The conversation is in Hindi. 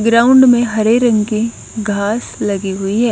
ग्राउंड में हरे रंग के घास लगी हुई है।